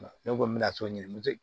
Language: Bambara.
Ne ko n bɛna so ɲini